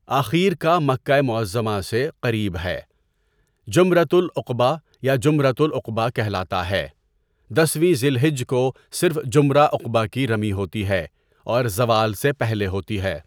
اخیر کا مکہ معظمہ سے قریب ہے جمرۃ العقبہ یا جمرۃ العقبٰی کہلاتا ہے، دسویں ذی الحجہ کو صرف جمرہ عقبہ کی رمی ہوتی ہے اور زوال سے پہلے ہوتی ہے.